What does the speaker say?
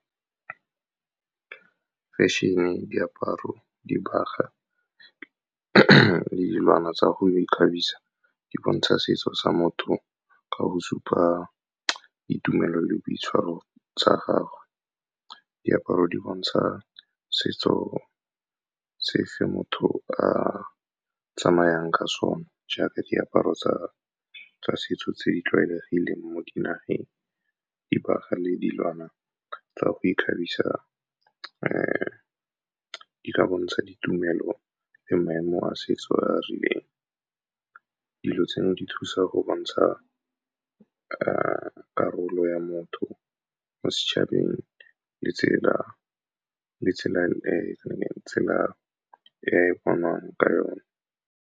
Fashion-e, diaparo, dibaga le dilwana tsa go ikgabisa, di bontsha setso sa motho ka go supa ditumelo le boitshwaro tsa gagwe. Diaparo di bontsha setso se motho a tsamayang ka sone, jaaka diaparo tsa setso tse di tlwaelegileng mo dinageng. Dibaga le dilwana tsa go ikgabisa di ka bontsha ditumelo le maemo a setso a a rileng. Dilo tseno di thusa go bontsha karolo ya motho mo setšhabeng le tsela e e bonwang ka yone.